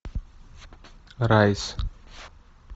райс